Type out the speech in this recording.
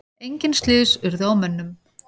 Engin slys urðu á mönnum.